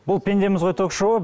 бұл пендеміз ғой ток шоуы